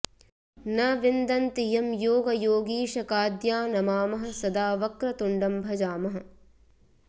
न विन्दन्ति यं योगयोगीशकाद्या नमामः सदा वक्रतुण्डं भजामः